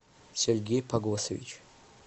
сергей погосович